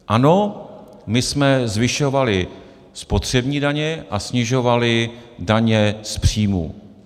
Ano, my jsme zvyšovali spotřební daně a snižovali daně z příjmů.